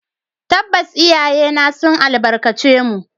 Tabbas, iyayena sun albarkace mu